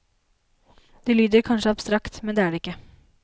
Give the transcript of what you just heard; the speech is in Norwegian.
Det lyder kanskje abstrakt, men er det ikke.